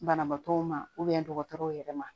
Banabaatɔw ma dɔgɔtɔrɔw yɛrɛ ma